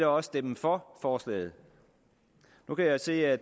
også stemme for forslaget nu kan jeg se at